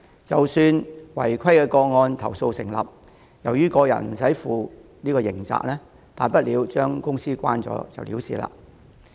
即使違規投訴成立，由於個人無須負刑責，負責人大不了將公司關閉了事。